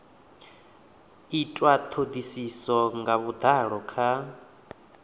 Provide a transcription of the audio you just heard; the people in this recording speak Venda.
itwa thodisiso nga vhudalo kha